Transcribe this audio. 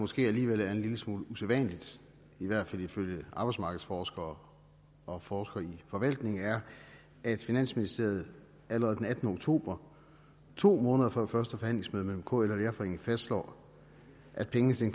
måske alligevel er en lille smule usædvanligt i hvert fald ifølge arbejdsmarkedsforskere og forskere i forvaltning er at finansministeriet allerede den attende oktober to måneder før første forhandlingsmøde mellem kl og danmarks lærerforening fastslår at pengene til